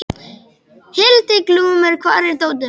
Hildiglúmur, hvar er dótið mitt?